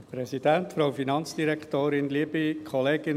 Kommissionssprecher der FiKo-Mehrheit.